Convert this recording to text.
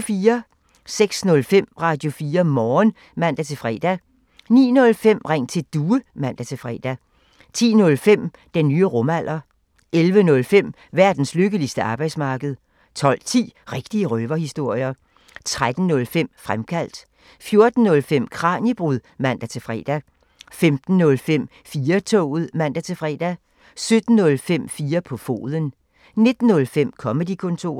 06:05: Radio4 Morgen (man-fre) 09:05: Ring til Due (man-fre) 10:05: Den nye rumalder 11:05: Verdens lykkeligste arbejdsmarked 12:10: Rigtige røverhistorier 13:05: Fremkaldt 14:05: Kraniebrud (man-fre) 15:05: 4-toget (man-fre) 17:05: 4 på foden 19:05: Comedy-kontoret